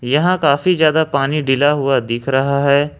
यहां काफी ज्यादा पानी ढीला हुआ दिख रहा है।